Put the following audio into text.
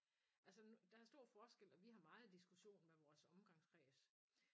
Altså der er stor forskel og vi har meget diskussion med vores omgangskreds